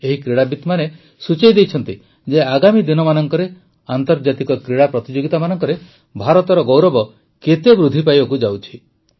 ଏହି କ୍ରୀଡ଼ାବିତମାନେ ସୂଚାଇ ଦେଇଛନ୍ତି ଯେ ଆଗାମୀ ଦିନମାନଙ୍କରେ ଆନ୍ତର୍ଜାତିକ କ୍ରୀଡ଼ା ପ୍ରତିଯୋଗୀତା ମାନଙ୍କରେ ଭାରତର ଗୌରବ କେତେ ବୃଦ୍ଧି ପାଇବାକୁ ଯାଉଛି